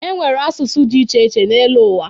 E nwere asụsụ dị iche iche n'elu ụwa.